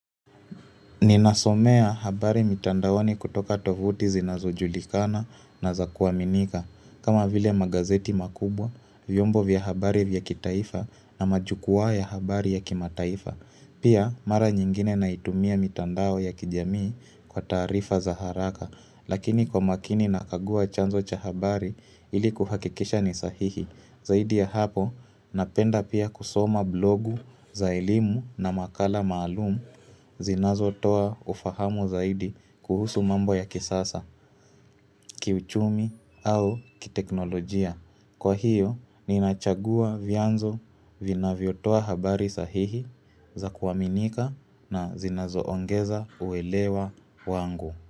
Ninasomea habari mitandaoni kutoka tovuti zinazujulikana na za kuaminika. Kama vile magazeti makubwa, vyombo vya habari vya kitaifa na majukwa ya habari ya kimataifa. Pia mara nyingine naitumia mitandao ya kijamii kwa tarifa za haraka. Lakini kwa makini na kagua chanzo cha habari ili kuhakikisha ni sahihi Zaidi ya hapo napenda pia kusoma blogu za elimu na makala maalumu zinazo toa ufahamu zaidi kuhusu mambo ya kisasa, kiuchumi au kiteknolojia Kwa hiyo ni nachagua vyanzo vinavyotoa habari sahihi za kuaminika na zinazo ongeza uelewa wangu.